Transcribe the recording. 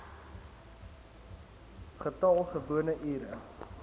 getal gewone ure